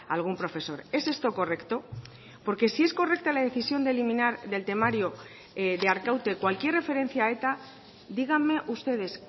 algún profesor es esto correcto porque sí es correcta la decisión de eliminar del temario de arkaute cualquier referencia a eta díganme ustedes